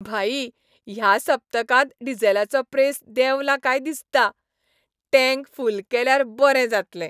भाई, ह्या सप्तकांत डीझलाचो प्रेस देंवला काय दिसता. टॅंक फुल केल्यार बरें जातलें.